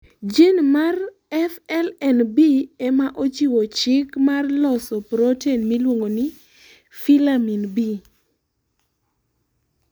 jin mar FLNB ema chiwo chik marvloso protein miluongo filamin B